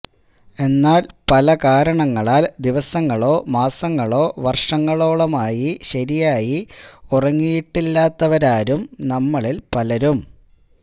എന്നാൽ പലകാരണങ്ങളാൽ ദിവസങ്ങളോ മാസങ്ങളോ വർഷങ്ങോളോളമായി ശരിയായി ഉറങ്ങിയിട്ടില്ലാത്തവരാവും നമ്മളിൽ പലരും